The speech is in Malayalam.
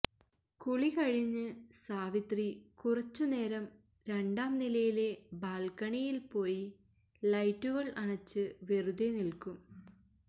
കുളി കഴിഞ്ഞ് സാവിത്രി കുറച്ചു നേരം രണ്ടാം നിലയിലെ ബാൽക്കണിയിൽ പോയി ലൈറ്റുകൾ അണച്ച് വെറുതെ നിൽക്കും